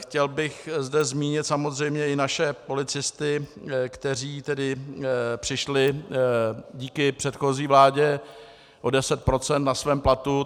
Chtěl bych zde zmínit samozřejmě i naše policisty, kteří tedy přišli díky předchozí vládě o 10 % na svém platu.